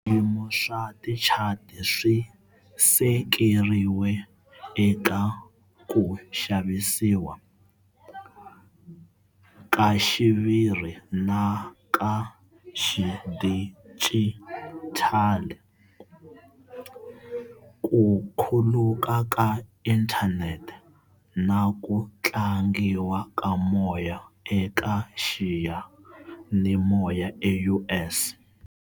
Swiyimo swa tichati swi sekeriwe eka ku xavisiwa, ka xiviri na ka xidijitali, ku khuluka ka inthanete, na ku tlangiwa ka moya eka xiyanimoya eUS.